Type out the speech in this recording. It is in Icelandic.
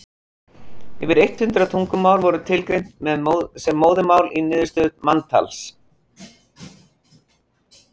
yfir eitt hundruð tungumál voru tilgreind sem móðurmál í niðurstöðum manntalsins